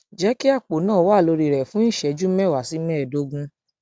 jẹ kí àpò náà náà wà lórí rẹ fún ìṣẹjú mẹwàá sí mẹẹẹdógún